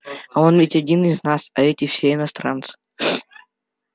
а он ведь один из нас а эти все иностранцы